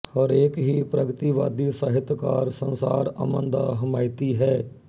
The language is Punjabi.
ਹਰੇਕ ਹੀ ਪ੍ਰਗਤੀਵਾਦੀ ਸਾਹਿਤਕਾਰ ਸੰਸਾਰ ਅਮਨ ਦਾ ਹਮਾਇਤੀ ਹੈ